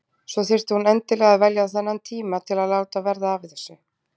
Svo þurfti hún endilega að velja þennan tíma til að láta verða af þessu.